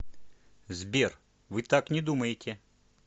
сбер вы так не думаете